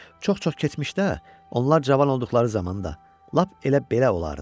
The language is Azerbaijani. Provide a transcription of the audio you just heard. Çox-çox keçmişdə onlar cavan olduqları zamanda lap elə belə olardı.